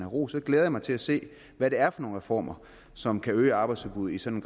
ros så glæder jeg mig til at se hvad det er for nogle reformer som kan øge arbejdsudbuddet i sådan